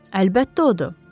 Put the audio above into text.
Əlbəttə odur.